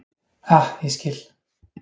Ah, ég skil.